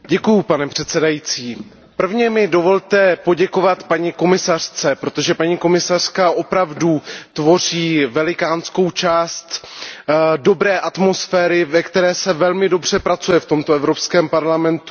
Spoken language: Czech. Pane předsedající, prvně mi dovolte poděkovat paní komisařce, protože paní komisařka opravdu tvoří velikou část dobré atmosféry, ve které se velmi dobře pracuje v Evropském parlamentu.